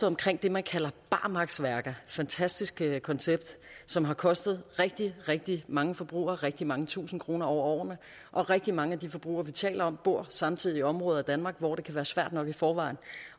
omkring det man kalder barmarksværker fantastisk koncept som har kostet rigtig rigtig mange forbrugere rigtig mange tusinde kroner over årene rigtig mange af de forbrugere vi taler om bor samtidig i områder af danmark hvor det kan være svært nok i forvejen